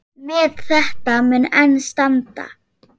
Met þetta mun enn standa.